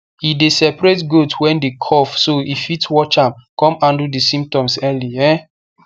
e dey separate goat wey dey cough so e fit watch am con handle the symptoms early um